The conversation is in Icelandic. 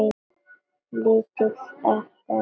Lítill eftir aldri.